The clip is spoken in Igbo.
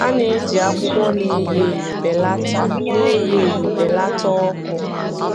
A na-eji akwụkwọ na-enyo enyo belata na-enyo enyo belata ọkụ.